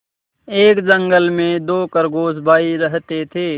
एक जंगल में दो खरगोश भाई रहते थे